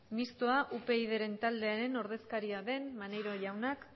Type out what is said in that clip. mistoa upyd ren taldearen ordezkaria den maneiro jaunak